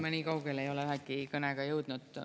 Ma nii kaugele ei ole ühegi kõnega jõudnud.